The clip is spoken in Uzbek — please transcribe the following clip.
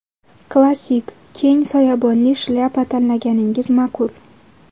Klassik keng soyabonli shlyapa tanlaganingiz ma’qul.